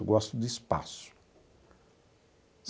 Eu gosto de espaço.